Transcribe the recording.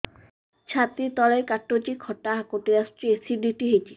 ଛାତି ତଳେ କାଟୁଚି ଖଟା ହାକୁଟି ଆସୁଚି ଏସିଡିଟି ହେଇଚି